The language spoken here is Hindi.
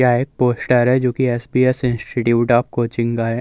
यह एक पोस्टर है जोकि एस.पी.एस. इंस्टिट्यूट ऑफ कोचिंग का है।